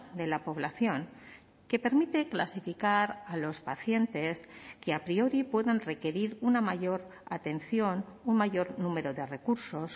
de la población que permite clasificar a los pacientes que a priori puedan requerir una mayor atención un mayor número de recursos